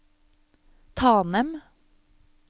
Tanem